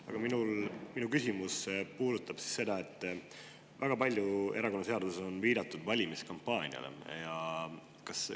Aga minu küsimus puudutab seda, et erakonnaseaduses on väga palju viidatud valimiskampaaniale.